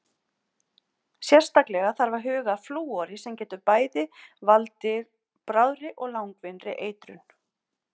Sérstaklega þarf að huga að flúori sem getur bæði valdir bráðri og langvinnri eitrun.